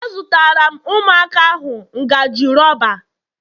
Azụtara m Ụmụaka ahu ngaji rọba